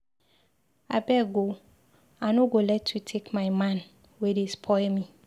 Abeg oo, I nọ go let you take my man wey dey spoil me.